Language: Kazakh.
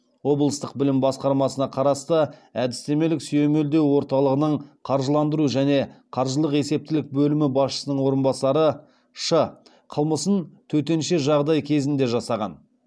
облыстық білім басқармасына қарасты әдістемелік сүйемелдеу орталығының қаржыландыру және қаржылық есептілік бөлімі басшысының орынбасары ш қылмысын төтенше жағдай кезінде жасаған